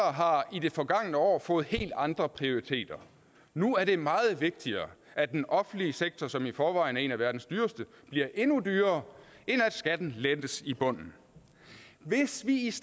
i det forgangne år har fået helt andre prioriteter nu er det meget vigtigere at den offentlige sektor som i forvejen er en af verdens dyreste bliver endnu dyrere end at skatten lettes i bunden hvis vi